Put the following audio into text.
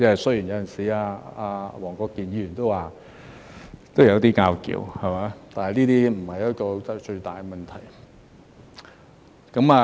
雖然有時——黃國健議員也說過——都有一些爭拗，但是那不是最大的問題。